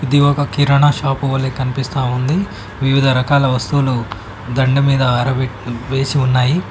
ఇది ఒక కిరాణా షాపు వలె కనిపిస్తా ఉంది వివిధ రకాల వస్తువులు దండ మీద ఆరబెట్ వేసి ఉన్నాయి.